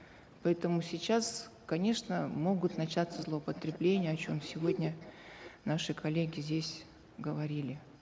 поэтому сейчас конечно могут начаться злоупотребления о чем сегодня наши коллеги здесь говорили